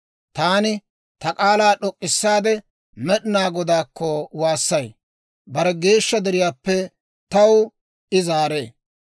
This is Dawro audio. Taani ta k'aalaa d'ok'k'issaade Med'inaa Godaakko waassay. Bare geeshsha deriyaappe taw I zaaree.